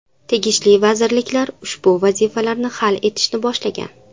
Tegishli vazirliklar ushbu vazifalarni hal etishni boshlagan.